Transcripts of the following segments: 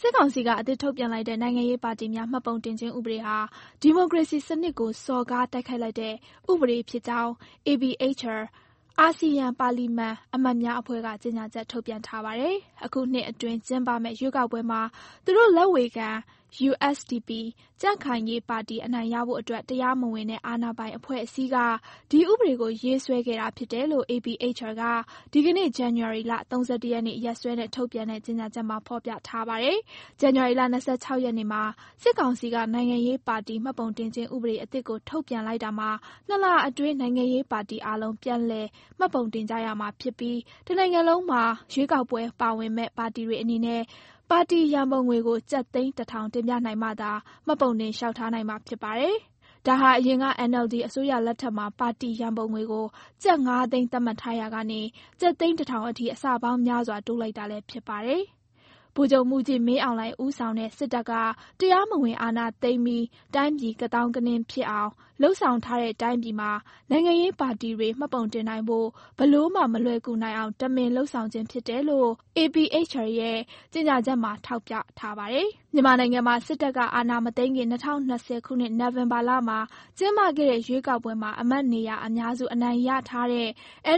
စစ်ကောင်စီက အသစ်ထုတ်ပြန်လိုက်တဲ့ နိုင်ငံရေးပါတီများ မှတ်ပုံတင်ခြင်းဥပဒေဟာ ဒီမိုကရေစီစံနစ်ကို စော်ကား တိုက်ခိုက်လိုက်တဲ့ ဥပဒေဖြစ်ကြောင်း APHR အာဆီယံ ပါလီမန်အမတ်များအဖွဲ့က ကြေညာချက်ထုတ်ပြန်ထားပါတယ်။ အခုနှစ်အတွင်း ကျင်းပမယ့် ရွေးကောက်ပွဲမှာ သူတို့လက်ဝေခံ USDP ကြံ့ခိုင်ရေးပါတီ အနိုင်ရဖို့အတွက် တရားမဝင်တဲ့ အာဏာပိုင်အဖွဲ့အစည်းက ဒီဥပဒေကို ရေးဆွဲခဲ့တာဖြစ်တယ်လို့ APHR က ဒီကနေ့ ဇန်နဝါရီ ၃၁ ရက်နေ့ ရက်စွဲနဲ့ ထုတ်ပြန်တဲ့ ြကေညာချက်မှာ ဖော်ပြထားပါတယ်။ ဇန်နဝါရီလ ၂၆ ရက်နေ့မှာ စစ်ကောင်စီက နိုင်ငံရေးပါတီ မှတ်ပုံတင်ခြင်း ဥပဒေအသစ်ကို ထုတ်ပြန်လိုက်တာမှာ - ၂ လ အတွင်း နိုင်ငံရေးပါတီအားလုံး ပြန်လည်မှတ်ပုံတင်ကြရမှာဖြစ်ပြီး တနိုင်ငံလုံးမှာ ရွေးကောက်ပွဲဝင်မယ့် ပါတီတွေအနေနဲ့ ပါတီရန်ပုံငွေကို ကျပ်သိန်း ၁ ထောင် တင်ပြနိုင်မှသာ မှတ်ပုံတင်လျှောက်ထားနိုင်မှာ ဖြစ်ပါတယ်။ဒါဟာ အရင်က NLD အစိုးရလက်ထက်မှာ ပါတီရန်ပုံငွေကို ကျပ် ၅ သိန်း သတ်မှတ်ထားရာက ကျပ်သိန်း ၁ ထောင်အထိ အဆပေါင်းများစွာ တိုးလိုက်တာလည်း ဖြစ်ပါတယ်။ ဗိုလ်ချုပ်မှူးကြီး မင်းအောင်လှိုင် ဦးဆောင်တဲ့ စစ်တပ်က တရားမဝင် အာဏာသိမ်းပြီး တိုင်းပြည် ကသောင်းကနင်းဖြစ်အောင် လုပ်ဆောင်ထားတဲ့ တိုင်းပြည်မှာ နိုင်ငံရေးပါတီတွေ မှတ်ပုံတင်နိုင်ဖို့ ဘယ်လိုမှ မလွယ်ကူနိုင်အောင် တမင်လုပ်ဆောင်ခြင်းဖြစ်တယ်လို့ APHR ရဲ့ကြေညာချက်မှာ ထောက်ပြထားပါတယ်။ မြန်မာနိုင်ငံမှာ စစ်တပ်ကအာဏာမသိမ်းခင် ၂၀၂၀ နိုဝင်ဘာမှာ ကျင်းပခဲ့တဲ့ ရွေးကောက်ပွဲမှာ အမတ်နေရာအများစု အနိုင်ရထားတဲ့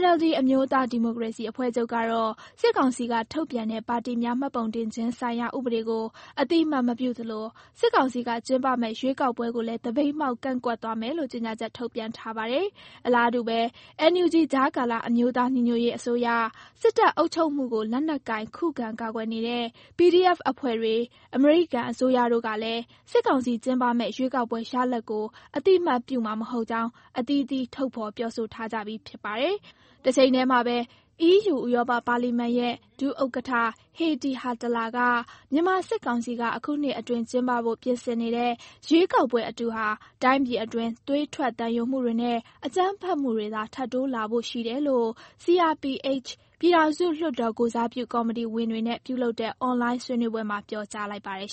NLD အမျိုးသားဒီမိုကရေစီအဖွဲ့ချုပ်ကတော့ - စစ်ကောင်စီက ထုတ်ပြန်တဲ့ ပါတီများမှတ်ပုံခြင်းဆိုင်ရာ ဥပဒေကို အသိအမှတ်မပြုသလို စစ်ကောင်စီက ကျင်းပမယ့် ရွေးကောက်ပွဲကိုလည်း သပိတ်မှောက် ကန့်ကွက်သွားမယ်လို့ ကြေညာချက် ထုတ်ပြန်ထားပါတယ်။ အလားတူဘဲ NUG ကြားကာလ အမျိုးသားညီညွတ်ရေးအစိုးရ၊ စစ်တပ်အုပ်ချုပ်မှုကို လက်နက်ကိုင် ခုခံကာကွယ်နေတဲ့ PDF တပ်ဖွဲ့တွေ၊ အမေရိကန်အစိုးရတို့ကလည်း စစ်ကောင်စီကျင်းပမယ့် ရွေးကောက်ပွဲရလဒ်ကို အသိအမှတ်ပြုမှာမဟုတ်ကြောင်း အသီးသီး ထုတ်ဖော် ပြောဆိုထားကြပြီး ဖြစ်ပါတယ်။ တချိန်ထဲမှာဘဲ - အီးယူ ဥရောပပါလီမန်ရဲ့ ဒုဥက္ကဋ္ဌ Heidi Hautala က - မြန်မာစစ်ကောင်စီက အခုနှစ်အတွင်းကျင်းပဖို့ ပြင်ဆင်နေတဲ့ ရွေးကောက်ပွဲအတုဟာ တိုင်းပြည်အတွင်း သွေးထွက်သံယိုမှုတွေနဲ့ အကြမ်းဖက်မှုတွေသာ ထပ်တိုးလာဖို့ရှိတယ်လို့ CRPH ပြည်ထောင်စုလွှတ်တော်ကိုယ်စားပြု ကော်မတီဝင်တွေနဲ့ပြုလုပ်တဲ့ အွန်လိုင်း ဆွေးနွေးပွဲမှာ ပြောကြားလိုက်ပါတယ်